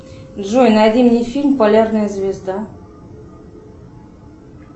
джой найди мне фильм полярная звезда